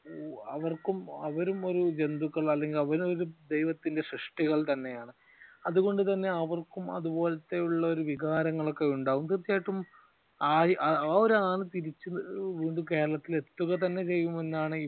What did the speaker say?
അവർക്കും അവരും ഒരു ജന്തുക്കൾ അല്ലെങ്കിൽ അവർ ഒരു ദൈവത്തിന്റെ സൃഷ്ടികൾ തന്നെയാണ് അതുകൊണ്ട് തന്നെ അവർക്കും അതുപോലത്തെയുള്ള വികാരങ്ങൾ ഒക്കെ ഉണ്ടാവും തീർച്ചയായിട്ടും ആ ഒരു ആൾ തീർച്ചയായും കേരളത്തിൽ എത്തുക തന്നെ ചെയ്യും എന്നാണ്